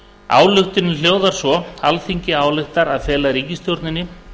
ályktunin hljóðar svo alþingi ályktar að fela ríkisstjórninni